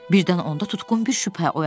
Birdən onda tutqun bir şübhə oyandı.